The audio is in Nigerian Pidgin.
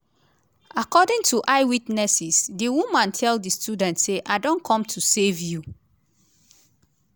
according to eye witnesses di woman tell di students say “i don come to save you”.